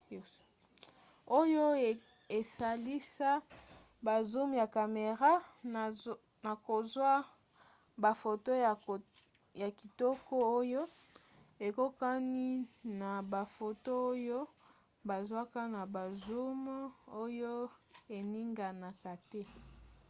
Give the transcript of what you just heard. oyo esalisa ba zoom ya camera na kozwa bafoto ya kitoko oyo ekokani na bafoto oyo bazwaka na ba zoom oyo eninganaka te